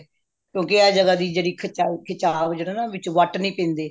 ਕਿਉਂਕਿ ਆਹ ਜਗ੍ਹਾ ਦੀ ਜਿਹੜੀ ਖਿਚਾਵ ਜਿਹੜਾ ਵਿੱਚ ਵੱਟ ਨੀ ਪੈਂਦੇ